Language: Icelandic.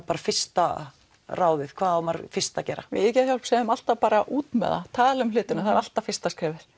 bara fyrsta ráðið hvað á maður fyrst að gera við hjá Geðhjálp segjum alltaf bara út með það tala um hlutina er alltaf fyrsta skrefið